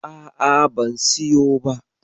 A'a ban siyo ba.